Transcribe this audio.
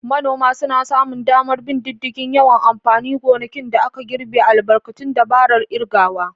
Manoma sun sami damar bin diddigin yawan amfanin gonakin da aka girbe albarkacin dabarar kirgawa.